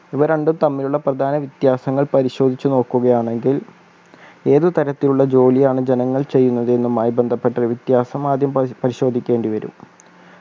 ഇവ രണ്ടും തമ്മിലുള്ള പ്രധാന വ്യത്യാസങ്ങൾ പരിശോധിച്ച് നോക്കുകയാണെങ്കിൽ ഏത് തരത്തിലുള്ള ജോലിയാണ് ജനങ്ങൾ ചെയ്യുന്നതെന്നുമായി ബന്ധപ്പെട്ട് വ്യത്യാസം ആദ്യം പരി പരിശോദിക്കേണ്ടി വരും